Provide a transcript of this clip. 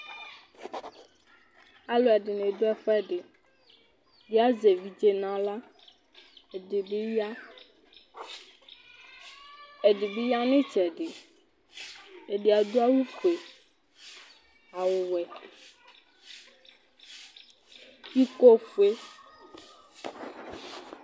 Alʋɛdɩnɩ dʋ ɛfʋɛdɩ Ɛdɩ azɛ evidze nʋ aɣla, ɛdɩ bɩ ya, ɛdɩ bɩ ya nʋ ɩtsɛdɩ Ɛdɩ adʋ awʋfue, awʋwɛ, ikofue